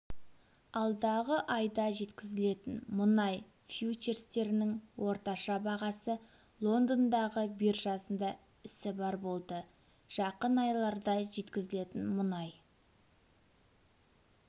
алдағы айда жеткізілетін мұнай фьючерстерінің орташа бағасы лондондағы биржасында ісі барр болды жақын айларда жеткізілетін мұнай